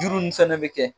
Juru nin fɛnɛ bɛ kɛ